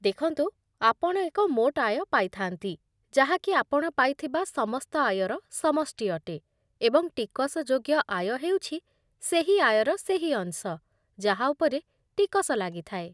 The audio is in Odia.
ଦେଖନ୍ତୁ, ଆପଣ ଏକ ମୋଟ ଆୟ ପାଇଥାନ୍ତି, ଯାହାକି ଆପଣ ପାଇଥିବା ସମସ୍ତ ଆୟର ସମଷ୍ଟି ଅଟେ, ଏବଂ ଟିକସଯୋଗ୍ୟ ଆୟ ହେଉଛି ସେହି ଆୟର ସେହି ଅଂଶ ଯାହା ଉପରେ ଟିକସ ଲାଗିଥାଏ।